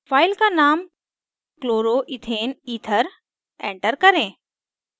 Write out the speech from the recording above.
file का name क्लोरोईथेनether chloroethaneether enter करें